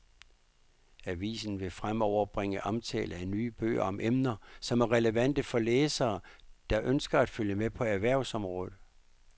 Avisen vil fremover bringe omtale af nye bøger om emner, som er relevante for læsere, der ønsker at følge med på erhvervsområdet.